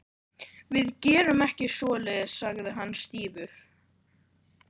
Við gerum ekki svoleiðis sagði hann stífur.